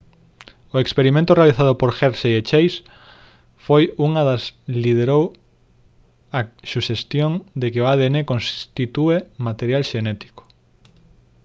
o experimento realizado por hershey e chase foi unha das liderou a suxestión de que o adn constitúe material xenético